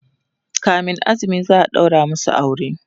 kamin azumi za'a ɗaura masu aure